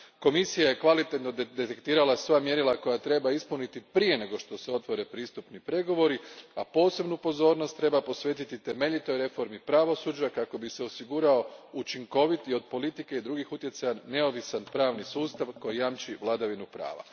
Komisija je kvalitetno detektirala sva mjerila koja treba ispuniti prije nego što se otvore pristupni pregovori, a posebnu pozornost treba posvetiti temeljitoj reformi pravosuđa kako bi se osigurao učinkovit i od politike i drugih utjecaja neovisan pravni sustav koji jamči vladavinu prava.